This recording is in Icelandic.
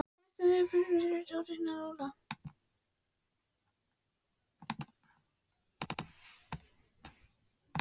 Næsta dag undirbjuggu Örn og Tóti innrás til Lúlla.